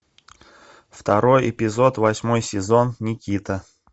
второй эпизод восьмой сезон никита